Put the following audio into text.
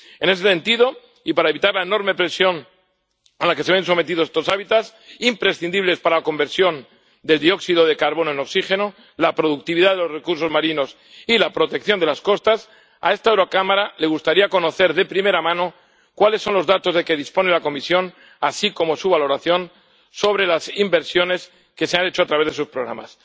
En este sentido, y para evitar la enorme presión a la que se ven sometidos estos hábitats imprescindibles para la conversión de dióxido de carbono en oxígeno, la productividad de los recursos marinos y la protección de las costas, a esta Cámara le gustaría conocer de primera mano cuáles son los datos de que dispone la Comisión, así como su valoración sobre las inversiones que se han hecho a través de sus programas.